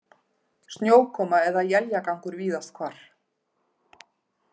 Snjókoma eða éljagangur víðast hvar